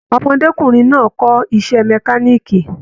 Ọmọdékunrin náà kọ iṣẹ mẹ̀kániikí.